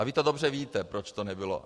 A vy to dobře víte, proč to nebylo.